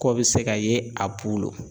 Kɔ be se ka ye a bolo.